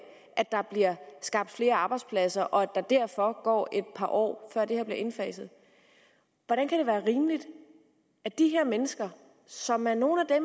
at der bliver skabt flere arbejdspladser og at der derfor går et par år før det her bliver indfaset hvordan kan det være rimeligt at de her mennesker som er nogle af